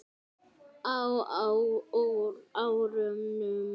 Á árunum